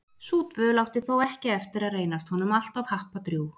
Sú dvöl átti þó ekki eftir að reynast honum alltof happadrjúg.